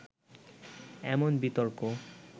এমন বিতর্ক